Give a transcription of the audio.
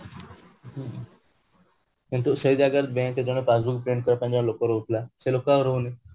କିନ୍ତୁ ସେଇ ଜାଗାରେ bank ରେ ଜଣେ passbook print କରିବା ପାଇଁ ଲୋକ ରହୁଥିଲା ସେ ଲୋକ ଆଉ ରାହୁନି